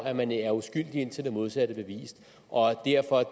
at man jo er uskyldig indtil det modsatte er bevist og derfor